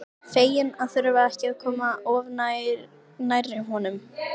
Fegin að þurfa ekki að koma of nærri honum.